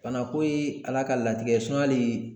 Bana ko ye ala ka latigɛ ye hali